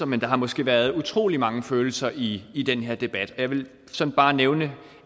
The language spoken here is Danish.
men der har måske været utrolig mange følelser i i den her debat jeg vil sådan bare nævne